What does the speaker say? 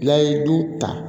N'a ye du ta